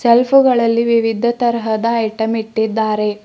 ಸೆಲ್ಪುಗಳಲ್ಲಿ ವಿವಿಧ ತರಹದ ಐಟಂ ಇಟ್ಟಿದ್ದಾರೆ.